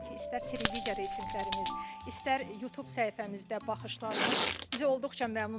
istər televiziya reytinqlərimiz, istər Youtube səhifəmizdə baxışlarımız bizi olduqca məmnun etdi.